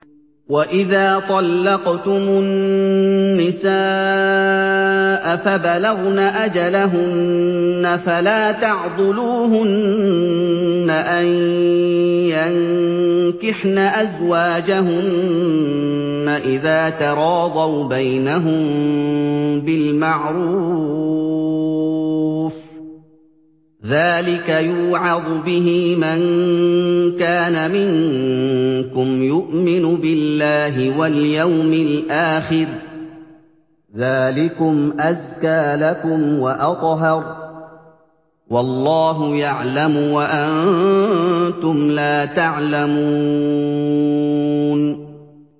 وَإِذَا طَلَّقْتُمُ النِّسَاءَ فَبَلَغْنَ أَجَلَهُنَّ فَلَا تَعْضُلُوهُنَّ أَن يَنكِحْنَ أَزْوَاجَهُنَّ إِذَا تَرَاضَوْا بَيْنَهُم بِالْمَعْرُوفِ ۗ ذَٰلِكَ يُوعَظُ بِهِ مَن كَانَ مِنكُمْ يُؤْمِنُ بِاللَّهِ وَالْيَوْمِ الْآخِرِ ۗ ذَٰلِكُمْ أَزْكَىٰ لَكُمْ وَأَطْهَرُ ۗ وَاللَّهُ يَعْلَمُ وَأَنتُمْ لَا تَعْلَمُونَ